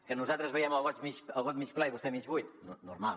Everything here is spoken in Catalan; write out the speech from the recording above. que nosaltres veiem el got mig ple i vostès mig buit normal